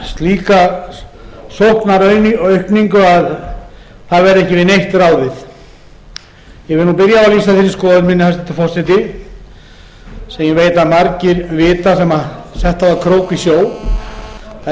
það verði ekki við neitt ráðið ég vil byrja á því að lýsa þeirri skoðun minni hæstvirtur forseti sem ég veit að margir vita sem sett hafa krók í sjó að eigi veiðist alltaf á krókinn